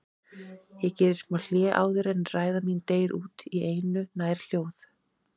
Ég geri smá hlé áður en ræða mín deyr út í einu nær hljóð